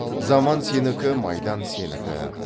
заман сенікі майдан сенікі